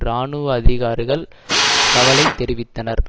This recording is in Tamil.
இராணுவ அதிகாரிகள் கவலை தெரிவித்தனர்